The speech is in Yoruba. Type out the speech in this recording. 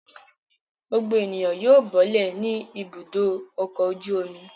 Gbogbo ènìyàn yóò bọ́lẹ̀ ní Ibùdó-ọkọ̀ ojú-omi.